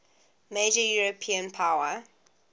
major european power